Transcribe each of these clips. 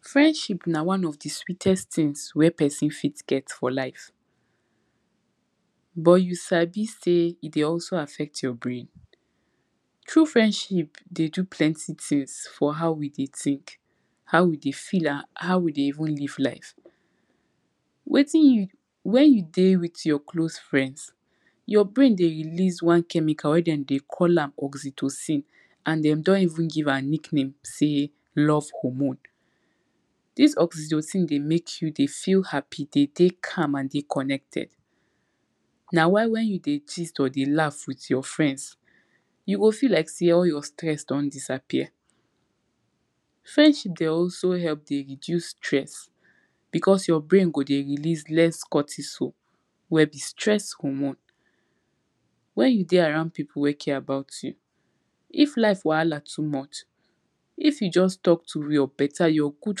friendship na one of di sweetest thing wer person fit get for life but you sabi sey e de also affect your brain. true friendship de do plenty things for how we de take, how we de feel am, how we de even live life. wettin you, when you dey with your close friends your brains de release one chemical wer dem de call am oczitosin and dem don even give am nickname sey, love hormone. dis oczitozin de make you de feel happy de dey calm and de connected na why when you de tease or de laugh with your friends you go feel like sey all your stress don disappear. friendship de also help de reduce stress, because your brain go de release less cotiso wer be stress hormones. when you de around pipu wer care about you, if life wahala too much, if you just talk to your betta your good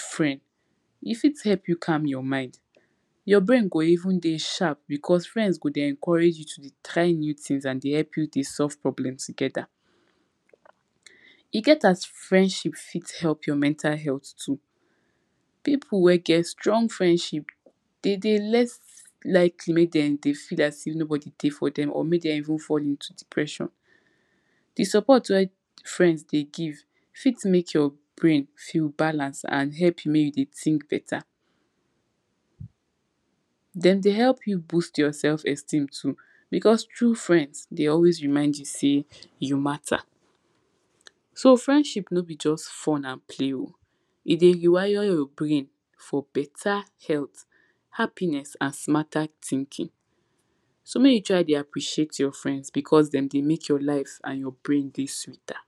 friend, e fit help you calm your mind, your brain go even de sharp because friends go de encourage you to try new things and der help you de solve problem together. e get as friendship fit help your mental health too. pipu wer get strong friendship de dey less like e make dem de feel as if nobody dey for dem or make dem even fall into depression. de support wer friends de give fit make your brains feel balance and help you make you de think beta. dem de help you boast your self esteem too because true friends de always remind you sey you mata. so friendship no be just fun and play o. e de rewire your brain for beta health, happiness and smarter thinking. so make you try de appreciate your friends because dem de make your life and your brain de sweater.